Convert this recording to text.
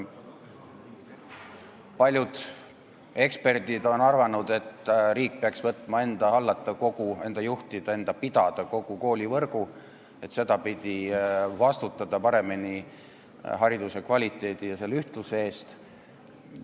Paljud eksperdid on arvanud, et riik peaks võtma enda hallata, enda juhtida, enda pidada kogu koolivõrgu, et sel moel paremini vastutada hariduse kvaliteedi ühtluse eest.